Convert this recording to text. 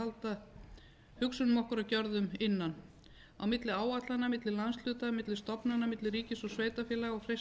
að halda hugsunum okkar og gjörðum innan á milli áætlana milli landshluta milli stofnana milli ríkis og sveitarfélaga og freista þess að